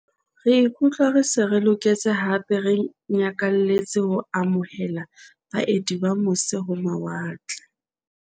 "Re ikutlwa re se re loketse hape re nyakalletse ho amo hela baeti ba mose-ho-mawa tle."